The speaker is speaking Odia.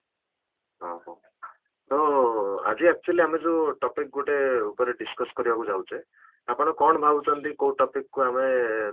ହଁ, ହଁ ତେଣୁ ଆଜି actually ଆମେ ଯୋଉ topic ଗୋଟେ ଉପରେ discuss କରିବାକୁ ଯାଉଛେ ଆପଣ କ'ଣ ଭାବୁଛନ୍ତି କୋଉ topic କୁ ଆମେ